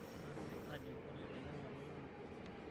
Maape aajoki pole tenyamali nanoto.